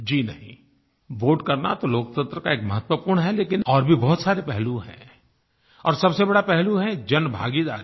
जी नहीं वोटे करना तो लोकतंत्र का एक महत्वपूर्ण है लेकिन और भी बहुत सारे पहलू हैं और सबसे बड़ा पहलू है जनभागीदारी